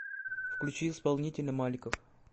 включи исполнителя маликов